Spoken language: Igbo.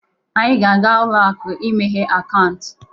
Anyị ga-aga ụlọ akụ imeghe akaụntụ